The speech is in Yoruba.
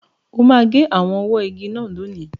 O máa gé àwọn ọwọ́ igi náà lónìí.